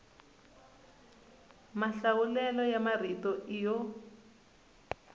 mahlawulelo ya marito i yo